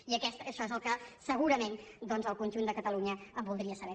i això és el que segurament doncs el conjunt de catalunya voldria saber